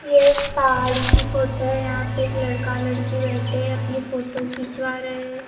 ये एक पहाड़ की फोटो है यहाँ पे एक लड़का लड़की बैठे हैं अपनी फोटो खिचवा रहे है।